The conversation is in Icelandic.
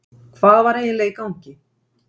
Hvað var eiginlega í gangi?